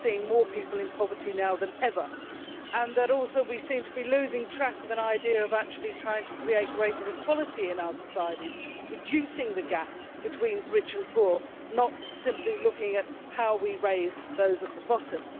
We are seeing more people in poverty now than ever, and we also seem to be losing track of any idea of actually trying to create greater equality in our societies by reducing the gap between rich and poor, not simply looking at how we raise those at the bottom.